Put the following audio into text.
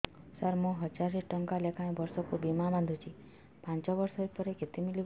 ସାର ମୁଁ ହଜାରେ ଟଂକା ଲେଖାଏଁ ବର୍ଷକୁ ବୀମା ବାଂଧୁଛି ପାଞ୍ଚ ବର୍ଷ ପରେ କେତେ ମିଳିବ